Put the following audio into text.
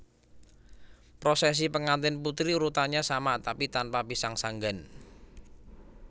Prosesi pengantin putri urutannya sama tapi tanpa pisang sanggan